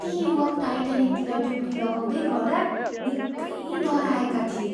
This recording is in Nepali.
ती युवक टाइटानिकतिर डुब्की लगाउँदै गर्दा निकै डराएका थिए।